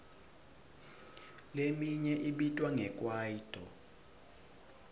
leminye ibitwa nge kwaito